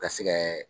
Ka se kɛ